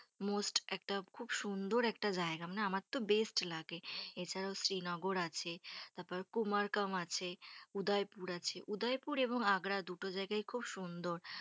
Most একটা খুব সুন্দর একটা জায়গা। মানে আমার তো best লাগে। এছাড়াও শ্রীনগর আছে, তারপর কুমারকাম আছে, উদয়পুর আছে। উদয়পুর এবং আগ্রা দুজায়গাই খুব সুন্দর।